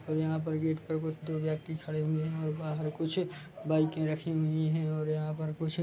और यहाँ पर गेट पर कुछ दो व्यक्ति खड़े हुए है और बाहर कुछ बाइके रखी हुई है और यहाँ पर कुछ--